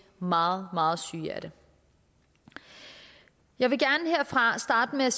meget meget syge af det jeg vil gerne herfra starte med